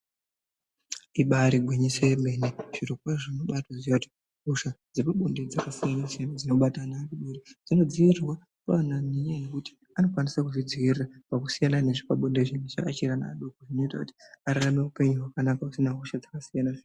Ibairi gwinyiso yemene zviro kwazvo unobaatoziva kuti hosha dzepabonde dzakasiyana siyana dzinobata ana, dzinodziirirwa kuana nenyaya yekuti anokwanisa kuzvidziirira pakusiyana nezvepabonde izvi achiri ana adoko zvinoita kuti ararame upenyu hwakanaka usina hosha dzakasiyana siyana